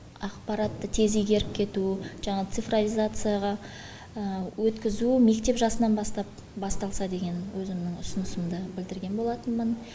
ақпаратты тез игеріп кету жаңа цифрофизацияға өткізу мектеп жасынан басталса деген өзімнің ұсынысымды білідірген болатынмын